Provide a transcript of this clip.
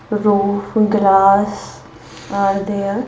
Roof glass are there.